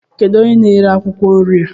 Kedụ onye n'ere akwụkwọ nri a?